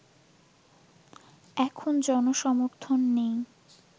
এখন জনসমর্থন নেই